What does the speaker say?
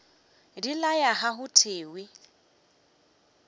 di laya ga go thewe